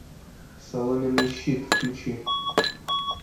соломенный щит включи